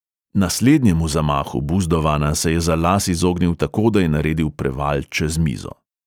Naslednjemu zamahu buzdovana se je za las izognil tako, da je naredil preval čez mizo.